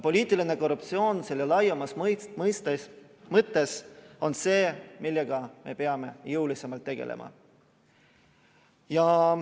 Poliitiline korruptsioon selle laiemas mõttes on see, millega me peame jõulisemalt tegelema.